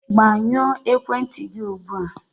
Gbanyụọ ekwentị gị ugbu a!